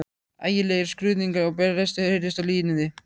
Ægilegir skruðningar og brestir heyrðust á línunni.